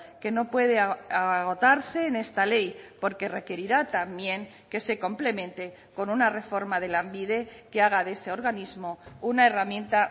que no puede agotarse en esta ley porque requerirá también que se complemente con una reforma de lanbide que haga de ese organismo una herramienta